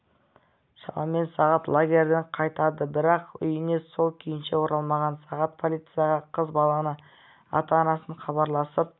шамамен сағат лагерден қайтады бірақ үйіне сол күйінше оралмаған сағат полицияға қыз баланың ата-анасы хабарласып